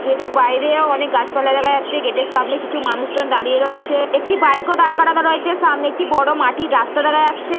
Gate - এর বাইরে ও অনেক গাছপালা দেখা যাচ্ছে। গেটের সামনে কিছু মানুষজন দাঁড়িয়ে রয়েছে একটি বাইকও দাঁড় করানো রয়েছে সামনে একটি বড় মাটির রাস্তা দেখা যাচ্ছে।